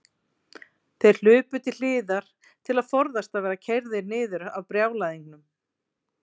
Þeir hlupu til hliðar til að forðast að verða keyrðir niður af brjálæðingnum.